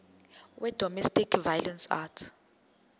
wedomestic violence act